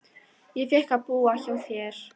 Ég fékk að búa hjá þér.